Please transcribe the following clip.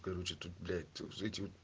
короче тут блять